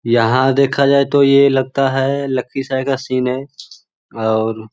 यहां देखा जाए तो ये लगता है लखीसराय का सीन है और --